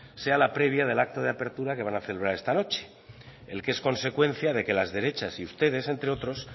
sea la previa del acto de apertura que van a celebrar esta noche en que es consecuencia que las derechas y ustedes entre otros